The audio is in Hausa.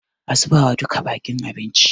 A zubawa duka baƙin abinci.